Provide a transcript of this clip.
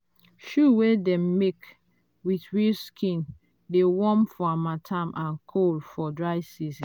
shoe wey dem make with real skin dey warm for harmattan and cool for dry season.